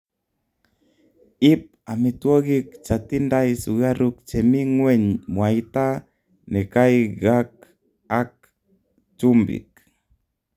iip ametwogik chatindai sugaruk chemii ngweny mwaita nekaigak ak chumpiik